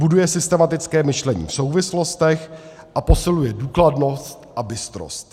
buduje systematické myšlení v souvislostech a posiluje důkladnost a bystrost.